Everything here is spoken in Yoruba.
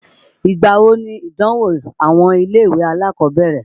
Ìgbà wo nìdánwò àwọn ilé-ìwé alákọ̀ọ́bẹ̀rẹ̀?